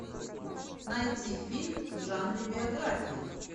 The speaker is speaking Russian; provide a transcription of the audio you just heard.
найти фильм в жанре биография